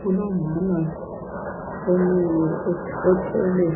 Kulomama omiyo othwele